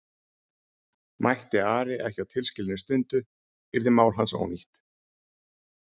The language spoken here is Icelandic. Mætti Ari ekki á tilskilinni stundu yrði mál hans ónýtt.